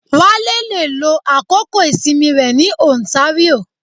Wale le lo àkókò ìsinmi rẹ ní ontario